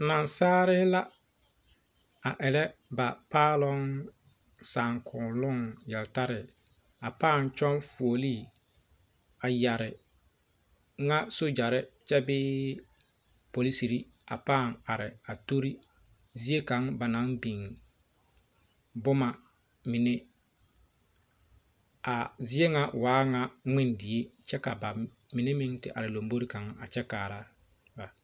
Naasaalee la a erɛ ba Paaloŋ saakonnoo yele tare a Paaloŋ paa kyɔŋ fuolii a yɛrɛ ŋa sogyare kye bee polisiri ka paa are a tori zie kaŋ ba naŋ biŋ boma mine kaa zie ŋa waa ŋa ŋmen die kyɛ ka ba mime meŋ te are zie kaŋ kyɛ kaara ba